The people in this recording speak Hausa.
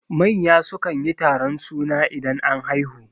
Manya sukan yi taron suna idan an haihu